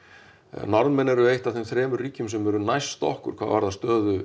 Norðmenn eru eitt af þeim þremur ríkjum sem eru næst okkur hvað varðar stöðu